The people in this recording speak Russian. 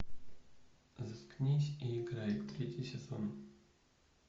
заткнись и играй третий сезон